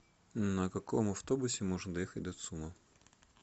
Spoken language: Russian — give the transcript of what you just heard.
на каком автобусе можно доехать до цума